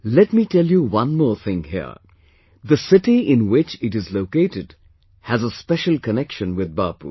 Let me tell you one more thing here the city in which it is located has a special connection with Bapu